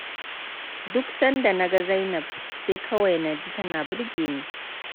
Duk sanda na ga Zainab sai kawai naji tana birge ni.